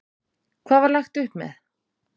Hvað var lagt upp með?